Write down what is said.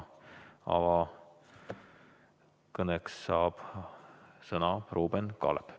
Avakõneks saab sõna Ruuben Kaalep.